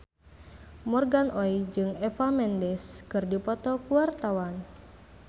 Morgan Oey jeung Eva Mendes keur dipoto ku wartawan